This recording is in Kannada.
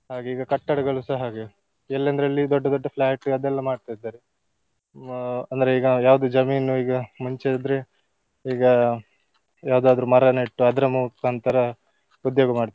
ಹಾಗೆ ಈಗ ಕಟ್ಟಡಗಳುಸ ಹಾಗೆ ಎಲ್ಲಂದ್ರಲ್ಲಿ ದೊಡ್ಡ ದೊಡ್ಡ flat ಅದೆಲ್ಲ ಮಾಡ್ತಾ ಇದ್ದಾರೆ. ಹ್ಮ್ ಅಂದ್ರೆ ಈಗ ಯಾವುದು ಜಮೀನು ಈಗ ಮುಂಚೆ ಆದ್ರೆ ಈಗ ಯಾವುದಾದ್ರು ಮರ ನೆಟ್ಟು ಅದ್ರ ಮುಖಾಂತರ ಉದ್ಯೋಗ ಮಾಡ್ತಿದ್ರು.